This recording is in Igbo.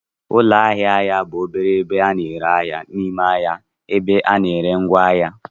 Ụlọ ahịa ahịa bụ obere ebe a na-ere ahịa n'ime ahịa ebe a na-ere ngwaahịa.